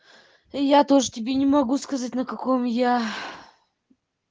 я тоже тебе не могу сказать на каком я